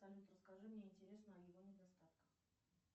салют расскажи мне интересно о его недостатках